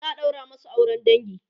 za'a ɗaura masu auran dangi